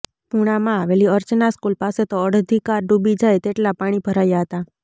પૂણામાં આવેલી અર્ચના સ્કુલ પાસે તો અડધી કાર ડુબી જાય તેટલા પાણી ભરાયા હતા